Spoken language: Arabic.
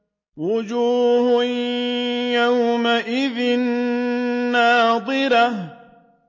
وُجُوهٌ يَوْمَئِذٍ نَّاضِرَةٌ